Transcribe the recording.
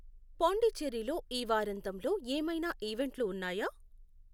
పొండిచేర్రిలో ఈ వారాంతంలో ఏమైనా ఈవెంట్లు ఉన్నాయా?